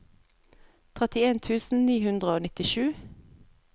trettien tusen ni hundre og nittisju